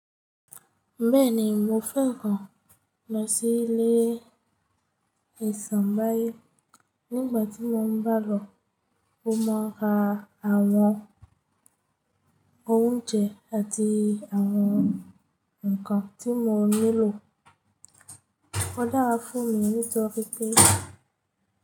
Bẹ́ẹ̀ni mo fẹ́ran lọ sí ilé Isenbáyọ̀ nígbàtí mo bá lọ ó máa ra àwọn oúnjẹ àti àwọn nǹkan tí mo nílò. Ọ dara fún mi ní toripe.